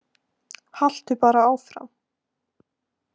Haltu bara áfram